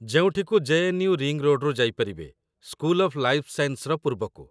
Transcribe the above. ଯେଉଁଠିକୁ JNU. Ring ରୋଡ୍‌ରୁ ଯାଇପାରିବେ, ସ୍କୁଲ ଅଫ୍ ଲାଇଫ୍ ସାଇନ୍ସର ପୂର୍ବକୁ